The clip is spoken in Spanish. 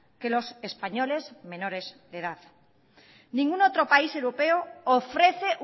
que los españoles menores de edad ningún otro país europeo ofrece